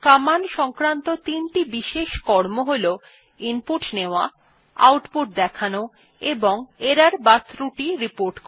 command সংক্রান্ত তিনটি বিশেষ কর্ম হল ইনপুট নেওয়া আউটপুট দেখানো এবং এরর বা ত্রুটি রিপোর্ট করা